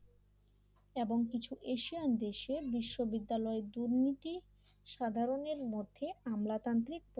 এবং কিছু এশিয়ান দেশে বিশ্ববিদ্যালয়ের দুর্নীতি সাধারণের মধ্যে আমলাতান্ত্রিক